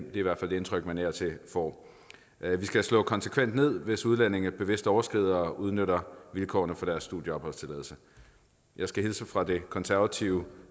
indtryk man af og til får vi skal slå konsekvent ned hvis udlændinge bevidst overskrider og udnytter vilkårene for deres studie og opholdstilladelse jeg skal hilse fra det konservative